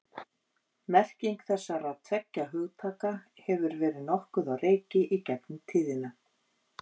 Merking þessara tveggja hugtaka hefur verið nokkuð á reiki í gegnum tíðina.